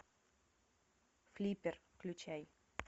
флиппер включай